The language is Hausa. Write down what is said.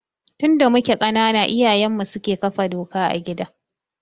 Tun da muke ƙanana iyayenmu suke kafa doka a gida.